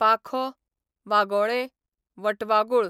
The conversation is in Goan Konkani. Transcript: पाखो, वागोळें, वटवागूळ